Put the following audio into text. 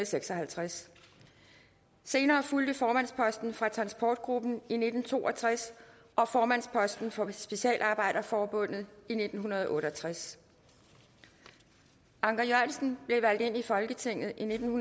seks og halvtreds senere fulgte formandsposten for transportgruppen i nitten to og tres og formandsposten for specialarbejderforbundet i nitten otte og tres anker jørgensen blev valgt ind i folketinget i nitten